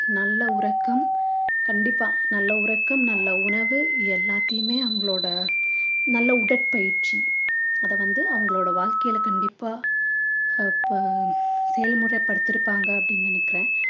நல்ல உறக்கம் கண்டிப்பா நல்ல உறக்கம் நல்ல உணவு எல்லாத்தையுமே அவங்களோட நல்ல உடற்பயிற்சி அத வந்து அவங்களோட வாழ்க்கையில கண்டிப்பா அப்ப செயல்முறை படுத்திருப்பாங்க அப்படின்னு நினைக்கிறேன்